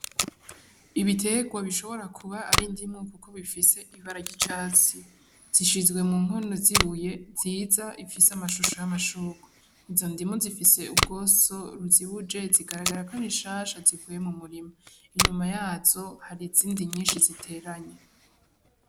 Ibitegwa bishobora kuba ari indimu kuko bifise ibara ry' icatsi zishizwe mu nkono z'ibuye nziza ifise ishusho y'amashugwe izo ndimu zifise ubwosa rizibuje zikagaragara ko ari nshasha zivuye mu murima inyuma yazo hari izindi nyinshi ziteranye.